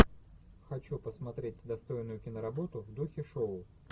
хочу посмотреть достойную киноработу в духе шоу